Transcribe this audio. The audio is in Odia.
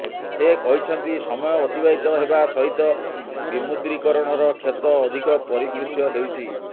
ସେ କହିଛନ୍ତି ସମୟ ଅତିବାହିତ ହେବା ସହିତ ବିମୁଦ୍ରୀକରଣର କ୍ଷତ ଅଧିକ ପରିଦୃଶ୍ୟ ହେଉଛି